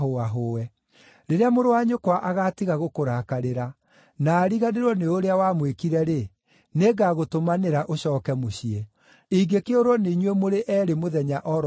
Rĩrĩa mũrũ wa nyũkwa agaatiga gũkũrakarĩra, na ariganĩrwo nĩ ũrĩa wamwĩkire-rĩ, nĩngagũtũmanĩra ũcooke mũciĩ. Ingĩkĩũrwo nĩ inyuĩ mũrĩ eerĩ mũthenya o ro ũmwe nĩkĩ?”